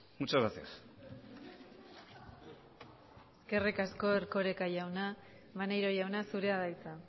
muchas gracias eskerrik asko erkoreka jauna maneiro jauna zurea da hitza